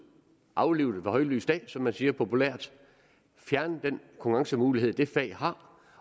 aflive den ved højlys dag som man siger populært fjerne den konkurrencemulighed det fag har